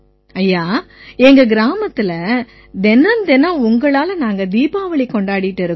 ஐயா எங்க கிராமத்தில தினம்தினம் உங்களால நாங்க தீபாவளி கொண்டாடிக்கிட்டு இருக்கோம்